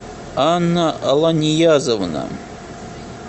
анна ланьязовна